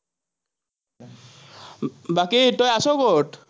বাকী তই আছ, ক'ত?